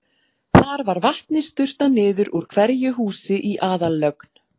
Þar var vatni sturtað niður úr hverju húsi í aðallögn.